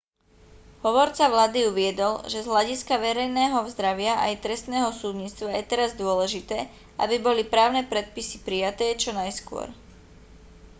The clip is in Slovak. hovorca vlády uviedol že z hľadiska verejného zdravia aj trestného súdnictva je teraz dôležité aby boli právne predpisy prijaté čo najskôr